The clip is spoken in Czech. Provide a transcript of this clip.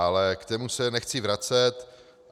Ale k tomu se nechci vracet.